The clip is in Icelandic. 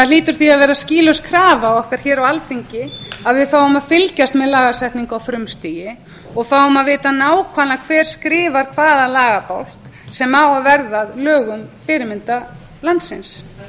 hlýtur því að vera skýlaus krafa okkar hér á alþingi að við fáum að fylgjast með lagasetningu á frumstigi og fáum að vita nákvæmlega hver skrifar hvaða lagabálk sem á að verða að lögum fyrirmyndarlandsins til